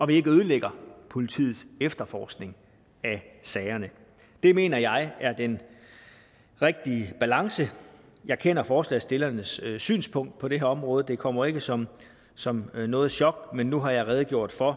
vi ikke ødelægger politiets efterforskning af sagerne det mener jeg er den rigtige balance jeg kender forslagsstillernes synspunkt på det her område det kommer ikke som som noget chok men nu har jeg redegjort for